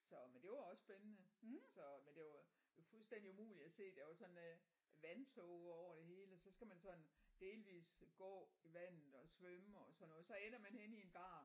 Så men det var også spændende så men det var fuldstændig umuligt at se der var sådan øh vandtåger over det hele og så skal man sådan delvis gå i vandet og svømme og sådan noget så ender man henne i en bar